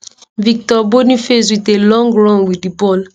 victor boniface wit a long run wit di ball